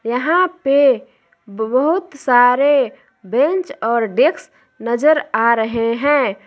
यहां पे बहुत सारे बेंच और डेस्क नजर आ रहे हैं।